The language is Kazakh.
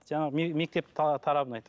жаңағы мектеп тарабын айтамын